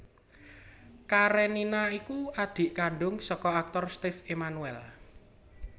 Karenina iku adhik kandhung saka aktor Steve Emmanuel